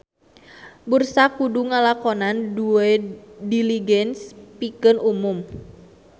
Bursa kudu ngalakonan Due Diligence pikeun umum.